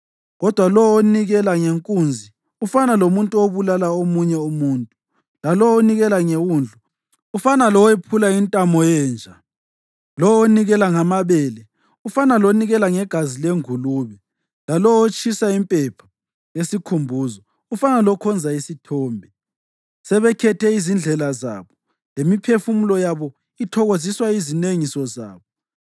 Kodwa lowo onikela ngenkunzi ufana lomuntu obulala omunye umuntu, lalowo onikela ngewundlu, ufana lowephula intamo yenja; lowo onikela ngamabele ufana lonikela ngegazi lengulube, lalowo otshisa impepha yesikhumbuzo ufana lokhonza isithombe. Sebekhethe izindlela zabo, lemiphefumulo yabo ithokoziswa yizinengiso zabo;